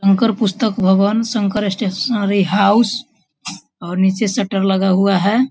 शंकर पुस्तक भगवान Shankar stationery house और नीचे शटर लगा हुआ है ।